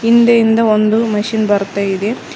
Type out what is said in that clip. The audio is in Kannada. ಹಿಂದೆಯಿಂದ ಒಂದು ಮಷೀನ್ ಬರ್ತಾ ಇದೆ.